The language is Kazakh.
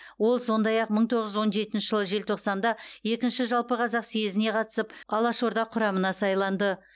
ол сондай ақ мың тоғыз жүз он жетінші жылы желтоқсанда екінші жалпықазақ съезіне қатысып алашорда құрамына сайланды